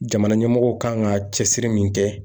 Jamana ɲɛmɔgɔw kan ka cɛsiri min kɛ